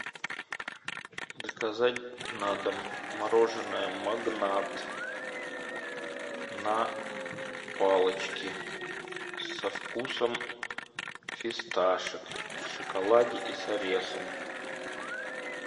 заказать на дом мороженое магнат на палочке со вкусом фисташек в шоколаде и с орехом